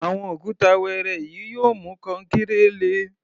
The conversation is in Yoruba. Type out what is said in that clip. Àwọn òkúta wẹẹrẹ yìí yóò mú kankéré le.